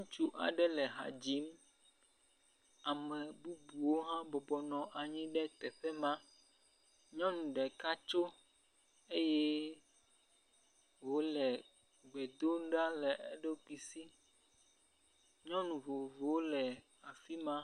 Ŋutsu aɖe le ha dzim, ame bubuwo hã bɔbɔ nɔ anyi ɖe teƒe ma, nyɔnu ɖeka tso eye wòle gbe dom ɖa le eɖokui si.